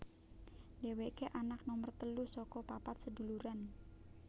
Dhèwèkè anak nomer telu saka papat seduluran